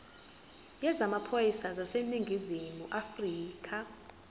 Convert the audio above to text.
yezamaphoyisa aseningizimu afrika